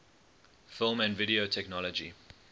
film and video technology